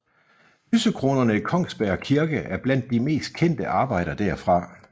Lysekronerne i Kongsberg kirke er blandt de mest kendte arbejder derfra